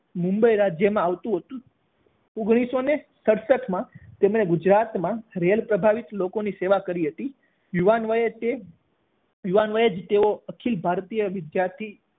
મુંબઇ રાજ્યમાં આવતું હતુ ઓગણીસો ને સડસઠમાં તેમણે ગુજરાતમાં રેલ પ્રભાવિત લોકોની સેવા કરી હતી. યુવાન વયે તે યુવાન વયે જ તેઓ અખિલ ભારતીય વિધાર્થી